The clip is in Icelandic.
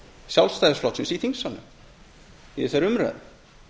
sjálfstæðisflokksins í þingsalnum í þessari umræðu